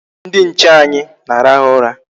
Ndị nche anyị na-arahụ ụra.